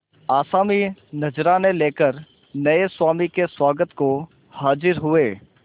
आसामी नजराने लेकर नये स्वामी के स्वागत को हाजिर हुए